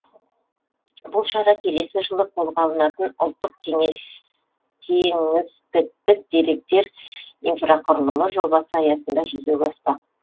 бұл шара келесі жылы қолға алынатын ұлттық кеңістіктік деректер инфрақұрылымы жобасы аясында жүзеге аспақ